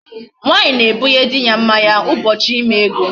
Nwaanyị na-egbunye di ya mmanya ụbọchị ime ego.